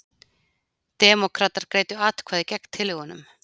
Demókratar greiddu atkvæði gegn tillögunum